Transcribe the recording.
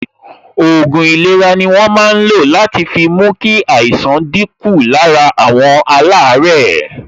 Òògùn ìlera ni wọ́n máa ń lo láti fi mú kí àìsàn dín kù lára àwọn alaare